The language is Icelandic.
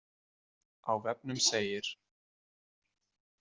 Á vefnum segir